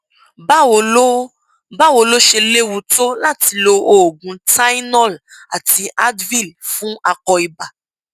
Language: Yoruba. báwo ló báwo ló ṣe léwu tó láti lo oògùn tylenol àti advil fún akọ ibà